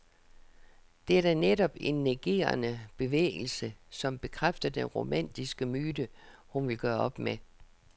Det er da netop en negerende bevægelse, som bekræfter den romantiske myte, hun vil gøre op med.